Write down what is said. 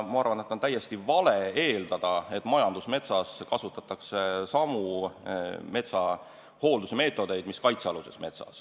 Ma arvan, et on täiesti vale eeldada, et majandusmetsas kasutatakse samu metsahooldusmeetodeid, mida kasutatakse kaitsealuses metsas.